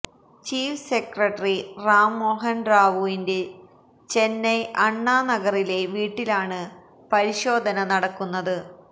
chief secretary Rammohan റാവുവിന്റെ ചെന്നൈ അണ്ണാ നഗറിലെ വീട്ടിലാണ് പരിശോധന നടക്കുന്നത്